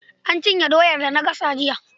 Na cinye doyar da na gasa jiya.